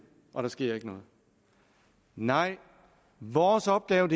og der sker ikke noget nej vores opgave